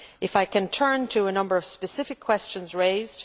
I turn now to a number of specific questions raised.